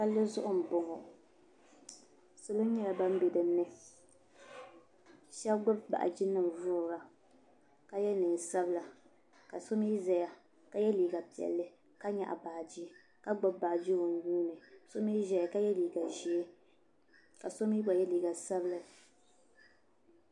palizuɣ' n boŋɔ salo nyɛla ban bɛ dini shɛb gbabi baaji nim vuri ka tɛ nɛnsabila ka so mi zaya ka yɛ liga piɛlli ka nyɛgi baaji ka gbabi baaji o nuuni ka so mi ʒɛya ka yɛ liga ʒiɛ kaso mi gba yɛ liga sabila